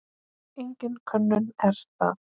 Engin könnun er það.